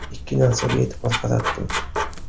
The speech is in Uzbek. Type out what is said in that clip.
Ikki narsaga e’tibor qaratdim.